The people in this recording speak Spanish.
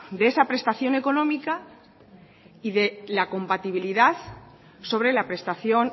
de esa prestación económica y de la compatibilidad sobre la prestación